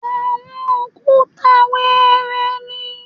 Àwọn òkúta wẹẹrẹ ni